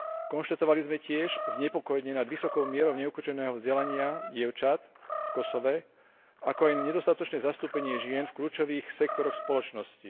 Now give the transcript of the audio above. Konštatovali sme tiež znepokojenie nad vysokou mierou neukončeného vzdelania dievčat v Kosove, ako aj na nedostatočné zastúpenie žien v kľúčových sektoroch spoločnosti.